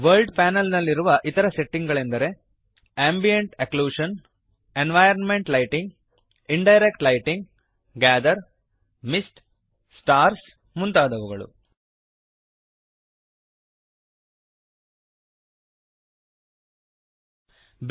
world panel ನಲ್ಲಿರುವ ಇತರ setting ಗಳೆಂದರೆ Ambient occlusion ambient occlusion environment lighting environment lighting indirect lighting indirect lighting gather gather mist mist stars stars ಮುಂತಾದವುಗಳು